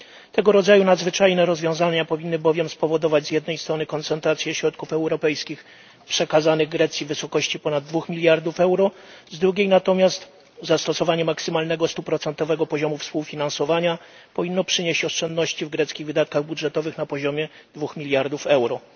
Tego rodzaju nadzwyczajne rozwiązania powinny bowiem spowodować z jednej strony koncentrację środków europejskich przekazanych Grecji w wysokości ponad 2 mld euro, z drugiej natomiast zastosowanie maksymalnego stuprocentowego poziomu współfinansowania powinno przynieść oszczędności w greckich wydatkach budżetowych na poziomie 2 mld euro.